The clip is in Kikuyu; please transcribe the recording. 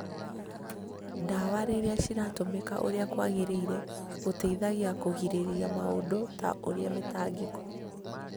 Ndawa rĩrĩa ciratũmĩka ũrĩa kũagĩrĩire, gũteithagia kũgirĩrĩria maũndũ ta ũrĩa mĩtangĩko